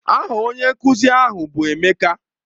Aha onye nkuzi ahụ bụ Emeka.